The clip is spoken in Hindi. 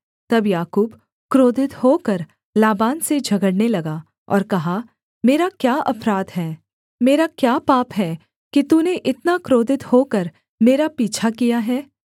तब याकूब क्रोधित होकर लाबान से झगड़ने लगा और कहा मेरा क्या अपराध है मेरा क्या पाप है कि तूने इतना क्रोधित होकर मेरा पीछा किया है